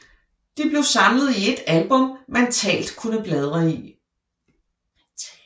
De blev samlet i et album man talt kunne bladre i